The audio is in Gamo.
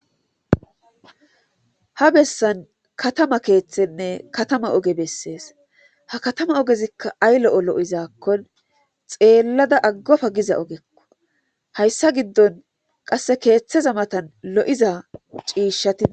ha bessan katama keeththenne katama oge bessees ha katama ogezikka ay lo7o lo7izaakkon xeellada aggofa giza ogekko hayssa giddon qasse keeththeza matan lo7iza ciishatia